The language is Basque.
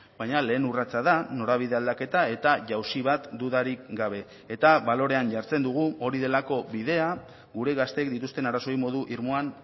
baina lehen urratsa da norabide aldaketa eta jausi bat dudarik gabe eta balorean jartzen dugu hori delako bidea gure gazteek dituzten arazoei modu irmoan